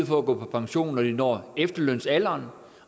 for at gå på pension når de når efterlønsalderen